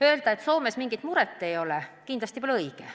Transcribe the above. Öelda, et Soomes inimesel mingit muret ei ole, kindlasti pole õige.